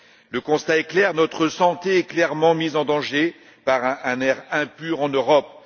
Le constat est clair notre santé est clairement mise en danger par un air impur en Europe.